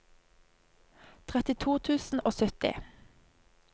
trettito tusen og sytti